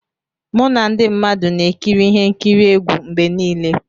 Mụ na ndị mmadụ na-ekiri ihe nkiri egwu mgbe niile.